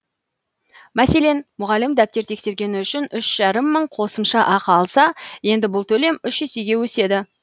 мәселен мұғалім дәптер тексергені үшін үш жарым мың қосымша ақы алса енді бұл төлем үш есеге өседі